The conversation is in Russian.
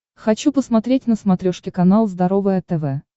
хочу посмотреть на смотрешке канал здоровое тв